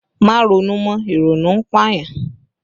Má ronú mọ! Ìrònú ń pà yàn!